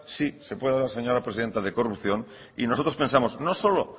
sí se puede hablar señora presidenta de corrupción y nosotros pensamos no solo